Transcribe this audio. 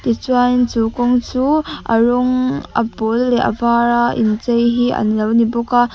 tichuan chu kawng chu a rawng a pâwl leh a vâr a inchei hi an lo ni bawk a.